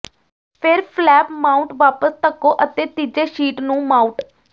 ਫਿਰ flap mount ਵਾਪਸ ਧੱਕੋ ਅਤੇ ਤੀਜੇ ਸ਼ੀਟ ਨੂੰ ਮਾਊਟ